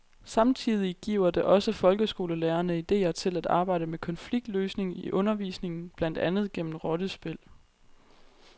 Samtidig giver det også folkeskolelærerne idéer til at arbejde med konfliktløsning i undervisningen, blandt andet gennem rollespil.